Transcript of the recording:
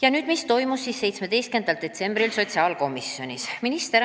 Aga mis toimus 17. detsembril sotsiaalkomisjonis?